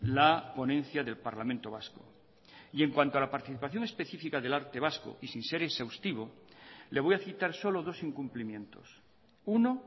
la ponencia del parlamento vasco y en cuanto a la participación especifica del arte vasco y sin ser exhaustivo le voy a citar solo dos incumplimientos uno